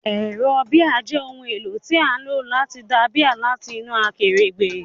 Ẹ̀rọ bíà jẹ́ ohun èlò tí a ń lò láti da bíà láti inú akèrègbè.